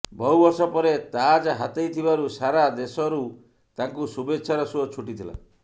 ବହୁ ବର୍ଷ ପରେ ତାଜ୍ ହାତେଇଥିବାରୁ ସାରା ଦେଶରୁ ତାଙ୍କୁ ଶୁଭେଚ୍ଛାର ସୁଅ ଛୁଟିଥିଲା